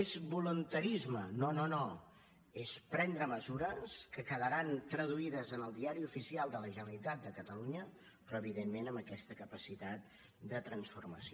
és voluntarisme no no no és prendre mesures que quedaran traduïdes en el diari oficial de la generalitat de catalunya però evidentment amb aquesta capacitat de transformació